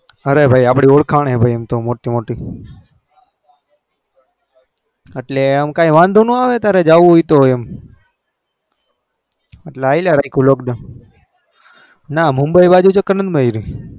અરે ભાઈ આપડી ઓરખાન મોટી મોટી એટલે એમ કાય વધો ના આવે તારે જાઉં હોય તો એટલે હલયા કરયું lockdown મુબી બાજુ ચક્ર ના માર્યું